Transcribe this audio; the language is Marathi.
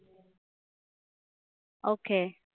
Okay